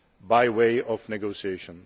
by way of negotiation.